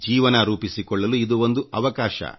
ಜೀವನ ರೂಪಿಸಿಕೊಳ್ಳಲು ಇದು ಒಂದು ಅವಕಾಶ